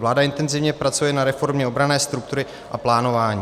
Vláda intenzivně pracuje na reformě obranné struktury a plánování.